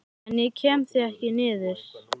En ég kem því ekki niður.